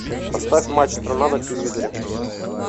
поставь матч страна на телевизоре